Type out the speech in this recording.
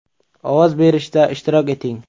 Ovoz berishda ishtirok eting.